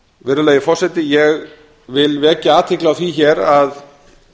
virðulegur forseti ég vek athygli á því hér að